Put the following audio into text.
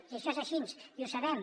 i això és així i ho sabem